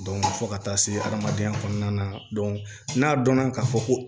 fo ka taa se adamadenya kɔnɔna na n'a dɔnna k'a fɔ ko